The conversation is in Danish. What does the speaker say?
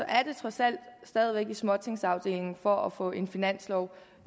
er det trods alt stadig væk i småtingsafdelingen for at få en finanslov